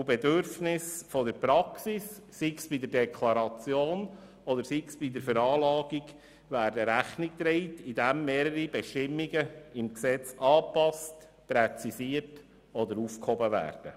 Bedürfnissen der Praxis, sei es in der Deklaration oder der Veranlagung, wird Rechnung getragen, indem mehrere Bestimmungen im Gesetz angepasst, präzisiert oder aufgehoben werden.